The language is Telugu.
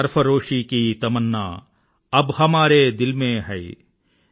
సర్ఫరోషీ కీ తమన్నా అబ్ హమారే దిల్ మే హై